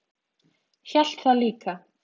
Hélt það líka.